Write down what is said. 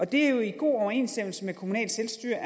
det er jo i god overensstemmelse med kommunalt selvstyre